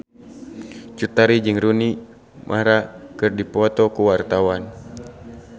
Cut Tari jeung Rooney Mara keur dipoto ku wartawan